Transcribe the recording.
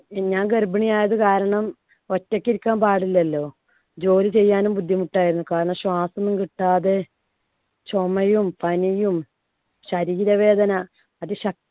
ഞാൻ ഗർഭിണിയായത് കാരണം ഒറ്റയ്ക്ക് ഇരിക്കാന്‍ പാടില്ലല്ലോ. ജോലി ചെയ്യാനും ബുദ്ധിമുട്ടായിരുന്നു, കാരണം ശ്വാസം ഒന്നും കിട്ടാതെ ചുമയും പനിയും ശരീരവേദന അതിശ